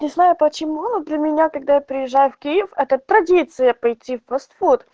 не знаю почему но для меня когда я приезжаю в киев это традиция пойти в фастфуд